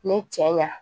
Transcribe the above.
Ne cɛ ɲa